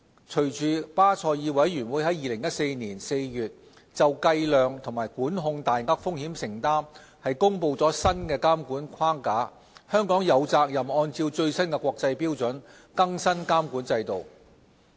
隨着巴塞爾委員會在2014年4月就計量及管控大額風險承擔公布新的監管框架，香港有責任按照最新國際標準，更新監管制度。